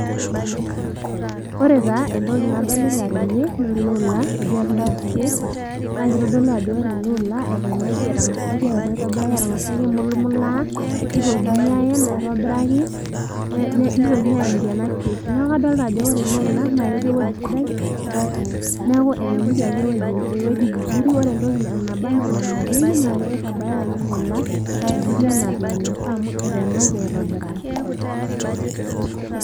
ore taa entoki nadolita tene naa ele ola otii atua ena crate naa kitodolu ajo wore ele ola eteenaki etang'asaki ayen aitobiraki etang'asaki aimulumulaa nitokini ayen aitobiraki ne nitokin ayeniki ena crate naku kadolta ajo wore ele ola naa ketii ewueji sidai neeku eteenikiaki ewueji vizuri ore entoki naba anaa enanapieki naa kitabaya ake ele ola vizuri anaa vile enaifaa amu eteenaki aitobiraki.